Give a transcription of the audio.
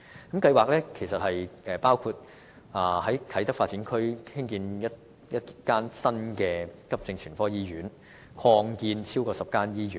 該計劃包括在啟德發展區興建一間大型急症全科醫院及擴建或重建超過10間醫院。